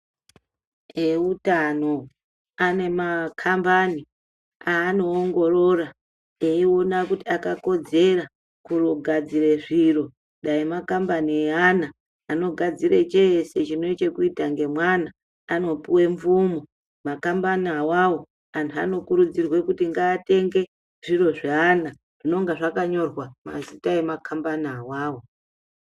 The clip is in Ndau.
Eutano ane makambani aanoongorora eiona kuti akakodzera kugadzire zviro. Dai makambani eana anogadzire cheese chine chekuita ngemwana, anopuwe mvumo makambani awawo. Anhu anokurudzirwa kuti ngaatenge zviro zveana zvinonga zvakanyorwa mazita emakambani awawo.